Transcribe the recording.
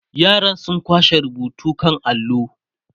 yaran sun kwashe rubutun kan allo